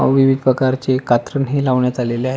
विविध प्रकारचे कात्रण हे लावण्यात आलेल आहे.